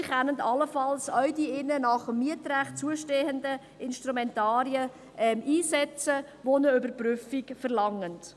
Sie können allenfalls auch die ihnen gemäss dem Mietrecht zustehenden Instrumentarien einsetzen, welche eine Überprüfung verlangen.